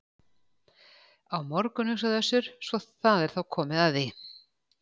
Á morgun, hugsaði Össur, svo það er þá komið að því.